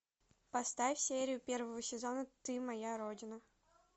поставь серию первого сезона ты моя родина